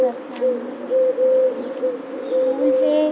ओकर सामने में एक ठो फूल हे।